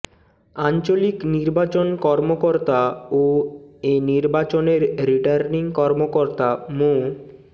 আঞ্চলিক নির্বাচন কর্মকর্তা ও এ নির্বাচনের রিটার্নিং কর্মকর্তা মো